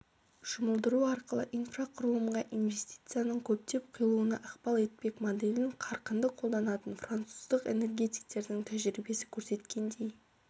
жұмылдыру арқылы инфрақұрылымға инвестицияның көптеп құйылуына ықпал етпек моделін қарқынды қолданатын француздық энергетиктердің тәжірибесі көрсеткендей